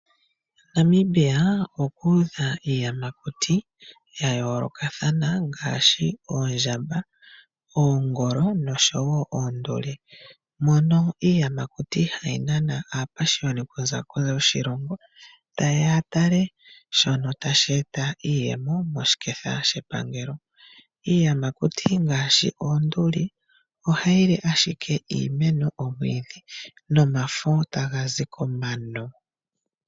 Namibia okuudha iiyamakuti ya yoolokathana ngaashi oondjamba, oongolo nosho wo oonduli. Mono iiyamakuti hayi nana aapashiyoni kuza kondje yoshilongo taye ya ya tale shono tashi eta iiyemo moshiketha shapangelo. Iiyamakuti ngaashi oonduli, ohayi li ashike iimeno, oomwiidhi nomafo taga zi komano.